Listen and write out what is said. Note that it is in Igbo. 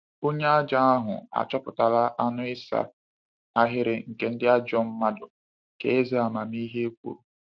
“Onye ajọ ahụ achọpụtala anụ ịsa ahịrị nke ndị ajọ mmadụ,” ka eze amamihe kwuru.